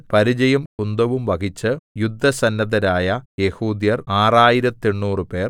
പരിചയും കുന്തവും വഹിച്ച് യുദ്ധസന്നദ്ധരായ യെഹൂദ്യർ ആറായിരത്തെണ്ണൂറുപേർ